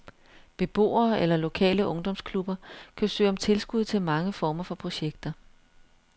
Beboere eller lokale ungdomsklubber kan søge om tilskud til mange former for projekter.